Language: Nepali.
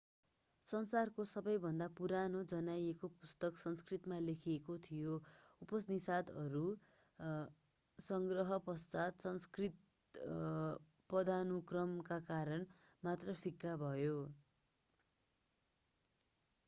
संसारको सबैभन्दा पुरानो जानिएको पुस्तक संस्कृतमा लेखिएको थियो उपनिषदहरूको संग्रह पश्चात संस्कृत पदानुक्रमका कारण मात्र फिक्का भयो